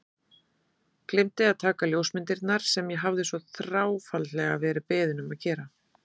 Gleymdi að taka ljósmyndirnar sem ég hafði svo þráfaldlega verið beðinn um að gera.